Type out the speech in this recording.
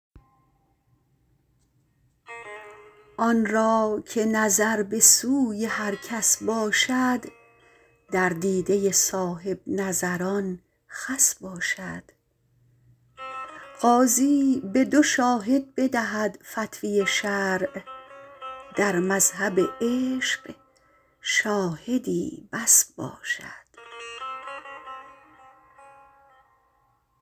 آن را که نظر به سوی هر کس باشد در دیده صاحبنظران خس باشد قاضی به دو شاهد بدهد فتوی شرع در مذهب عشق شاهدی بس باشد